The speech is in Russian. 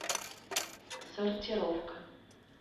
сортировка